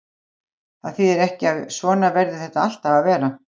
Það þýðir ekki að svona verði þetta alltaf að vera.